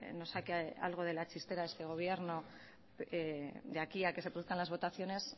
nos saque algo de la chistera este gobierno de aquí a que se produzcan las votaciones